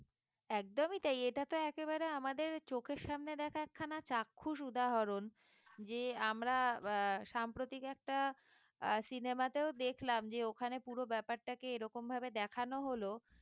একদমই তাই এটা তো একেবারে আমাদের চোখের সামনে দেখা একখানা চাক্ষুষ উদাহরণ যে আমরা আহ সাম্প্রতিক একটা আহ cinema তেও দেখলাম যে ওখানে পুরো ব্যাপারটাকে এরকম করে দেখানো হলো